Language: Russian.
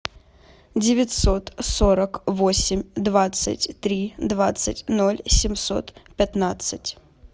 девятьсот сорок восемь двадцать три двадцать ноль семьсот пятнадцать